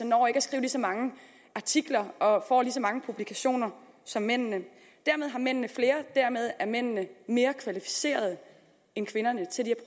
når ikke at skrive så mange artikler og få lige så mange publikationer som mændene dermed har mændene flere og dermed er mændene mere kvalificerere end kvinderne til de